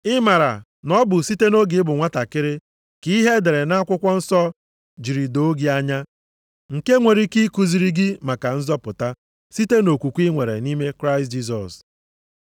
Ị maara na ọ bụ site nʼoge ị bụ nwantakịrị ka ihe e dere nʼakwụkwọ nsọ jiri doo gị anya, nke nwere ike ikuziri gị maka nzọpụta site nʼokwukwe i nwere nʼime Kraịst Jisọs.